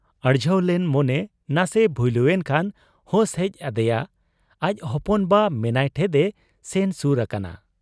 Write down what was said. ᱟᱹᱲᱡᱷᱟᱹᱣ ᱞᱮᱱ ᱢᱚᱱᱮ ᱱᱟᱥᱮ ᱵᱷᱩᱭᱞᱩ ᱮᱱᱠᱷᱟᱱ, ᱦᱩᱥ ᱦᱮᱡ ᱟᱫᱮᱭᱟ ᱾ ᱟᱡ ᱦᱚᱯᱚᱱ ᱵᱟ ᱢᱮᱱᱟᱭ ᱴᱷᱮᱫ ᱮ ᱥᱮᱱ ᱥᱩᱨ ᱟᱠᱟᱱᱟ ᱾